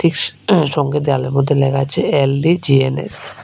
সঙ্গে দেওয়ালের মধ্যে লেখা আছে এল_দি_জি_এল_এস ।